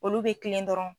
Olu bɛ kilen dɔrɔn